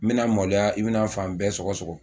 N bɛna maloya i bɛna fan bɛɛ sɔgɔ sɔgɔ